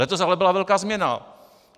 Letos ale byla velká změna.